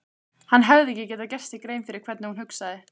Hann hafði ekki gert sér grein fyrir hvernig hún hugsaði.